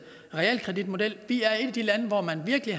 realkreditmodel vi er et af de lande hvor man virkelig